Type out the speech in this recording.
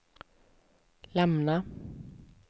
lämna